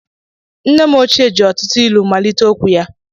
Nne m ochie ji ọtụtụ ilu malite okwu ya.